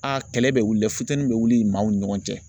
A kɛlɛ bɛ wuli fitini bɛ wuli maaw ni ɲɔgɔn cɛ.